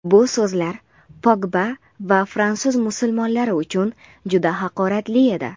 Bu so‘zlar Pogba va fransuz musulmonlari uchun juda haqoratli edi.